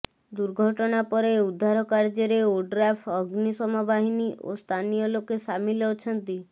ଦୁର୍ଘଟଣା ପରେ ଉଦ୍ଧାର କାର୍ଯ୍ୟରେ ଓଡ୍ରାଫ୍ ଅଗ୍ନିଶମ ବାହିନୀ ଓ ସ୍ଥାନୀୟ ଲୋକେ ସାମିଲ ଅଛନ୍ତି